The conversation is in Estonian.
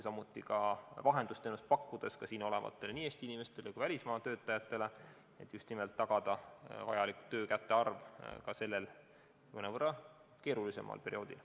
Samuti võib pakkuda vahendusteenust nii siin olevatele Eesti inimestele kui ka välismaa töötajatele, et ikkagi tagada vajalik töökäte arv ka sellel keerulisel perioodil.